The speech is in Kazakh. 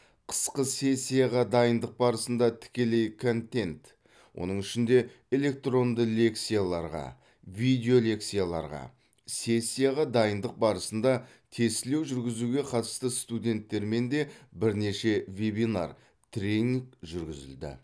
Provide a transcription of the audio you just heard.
қысқы сессияға дайындық барысында тікелей контент оның ішінде электронды лекцияларға видеолекцияларға сессияға дайындық барысында тестілеу жүргізуге қатысты студенттермен де бірнеше вебинар тренинг жүргізілді